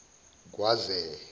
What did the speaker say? kwaze